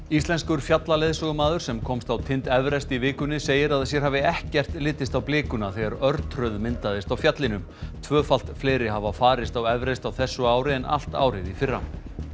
Íslenskur fjallaleiðsögumaður sem komst á tind Everest í vikunni segir að sér hafi ekkert litist á blikuna þegar örtröð myndaðist á fjallinu tvöfalt fleiri hafa farist á Everest á þessu ári en allt árið í fyrra